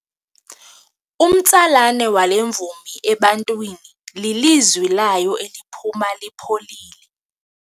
Umtsalane wale mvumi ebantwini lilizwi layo eliphuma lipholile.